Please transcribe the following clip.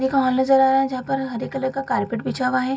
ये कहां ले जा रहा है जहाँ पर हरे कलर का कारपेट बिछा हुआ है।